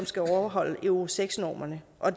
skal overholde euro seks normerne og